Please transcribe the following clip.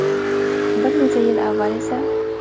Bir necha yil avval esa.